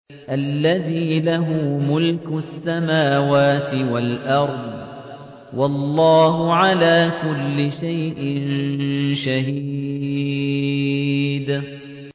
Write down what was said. الَّذِي لَهُ مُلْكُ السَّمَاوَاتِ وَالْأَرْضِ ۚ وَاللَّهُ عَلَىٰ كُلِّ شَيْءٍ شَهِيدٌ